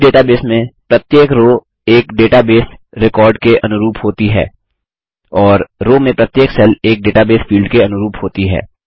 इस डेटाबेस में प्रत्येक रो एक डेटाबेस रिकॉर्ड के अनुरूप होती है और रो में प्रत्येक सेल एक डेटाबेस फील्ड के अनुरूप होती है